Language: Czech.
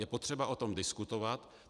Je potřeba o tom diskutovat.